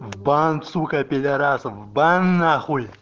в бан сука пидарасов в бан нахуй